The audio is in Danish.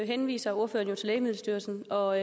henviser ordføreren til lægemiddelstyrelsen og